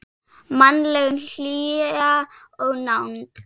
Mannleg hlýja og nánd.